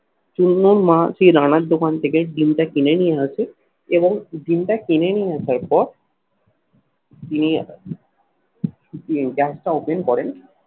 চুন্নর মা সেই রানার দোকান থেকে ডিমটা কিনে নিয়ে আসে এবং ডিমটা কিনে নিয়ে আসার পর তিনিই gas টা open করেন